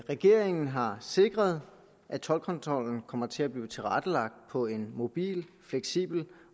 regeringen har sikret at toldkontrollen kommer til at blive tilrettelagt på en mobil fleksibel